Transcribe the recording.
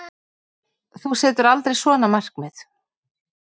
Þú setur aldrei svona markmið.